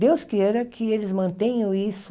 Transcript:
Deus queira que eles mantenham isso.